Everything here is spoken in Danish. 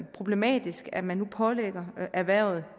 problematisk at man nu pålægger erhvervet